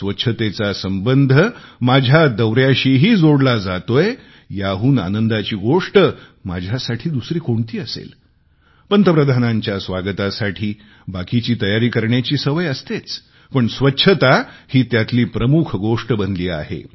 स्वच्छतेचा संबंध माझ्या दौऱ्यांशीही जोडला जातोय याहून आनंदाची गोष्ट माझ्यासाठी दुसरी कोणती असेल पंतप्रधानांच्या स्वागतासाठी बाकीची तयारी करण्याची सवय असतेच पण स्वच्छता ही त्यातली प्रमुख गोष्ट बनली आहे